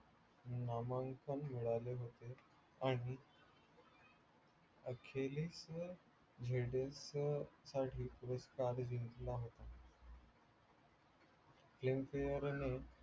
नामांकन मिळाले होते आणि zf साठी ताज जिंकला होता. filmfare ने